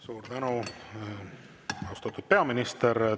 Suur tänu, austatud peaminister!